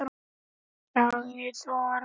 Sagði Þórunn!